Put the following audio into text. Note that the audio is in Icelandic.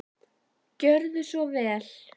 Gjörðu svo vel.